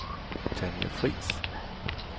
Tanja Friis